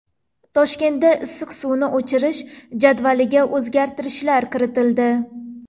Toshkentda issiq suvni o‘chirish jadvaliga o‘zgartirishlar kiritildi.